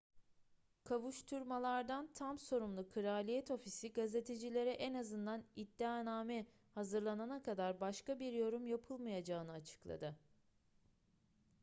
kovuşturmalardan tam sorumlu kraliyet ofisi gazetecilere en azından iddianame hazırlanana kadar başka bir yorum yapılmayacağını açıkladı